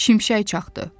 Şimşək çaxdı.